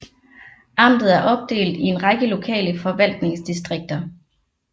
Amtet er opdelt i en række lokale forvaltningsdistrikter